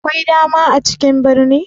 Akwai dama a cikin birni?